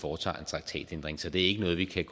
foretager en traktatændring så det er ikke noget vi kan